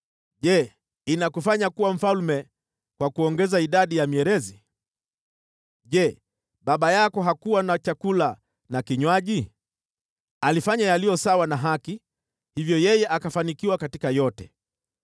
“Je, inakufanya kuwa mfalme huko kuongeza idadi ya mierezi? Je, baba yako hakuwa na chakula na kinywaji? Alifanya yaliyo sawa na haki, hivyo yeye akafanikiwa katika yote.